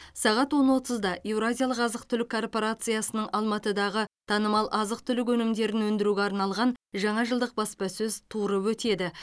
сағат он отызда еуразиялық азық түлік корпорациясының алматыдағы танымал азық түлік өнімдерін өндіруге арналған жаңа жылдық баспасөз туры өтеді